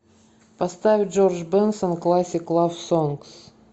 поставь джордж бенсон классик лав сонгс